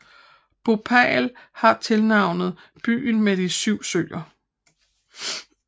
Bhopal har tilnavnet byen med de 7 søer